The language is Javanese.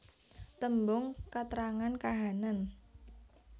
Tembung katrangan kahanan